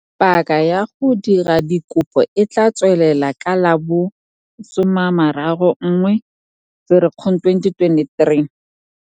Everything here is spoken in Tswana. Paka ya go dira dikopo e tla tswalelwa ka la bo 31 Ferikgong 2023.